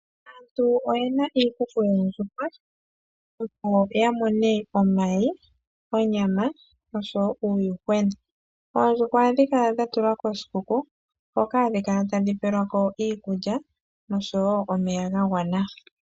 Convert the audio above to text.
Aantu oyena iikuku yoondjuhwa opo ya mone omayi, onyama noshowo uuyuhwena. Oondjuhwa ohadhi kala dha tulwa koshikuku hoka hadhi kala tadhi pelwako iikulya noshowo omeya ga gwana.